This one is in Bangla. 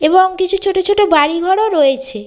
এবং কিছু ছোট ছোট বাড়িঘর ও রয়েছে।